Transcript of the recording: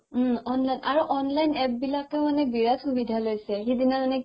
উম online আৰু online APP বিলাকেও মানে বিৰাত সুবিধা লৈছে সিদিনা মানে